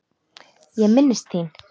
Ég minnist þín.